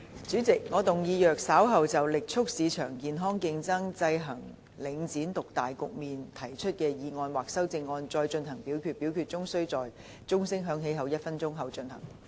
主席，我動議若稍後就"力促市場健康競爭，制衡領展獨大局面"所提出的議案或修正案再進行點名表決，表決須在鐘聲響起1分鐘後進行。